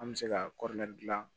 An bɛ se ka dilan